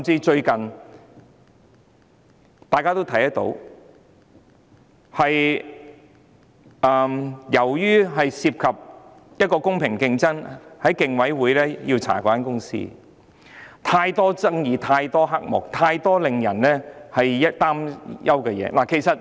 最近，由於有關公司涉及公平競爭，被競委會調查，當中牽涉太多爭議、太多黑幕，以及太多令人擔憂的事宜。